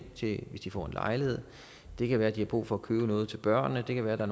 hvis de får en lejlighed det kan være de har brug for at købe noget til børnene det kan være der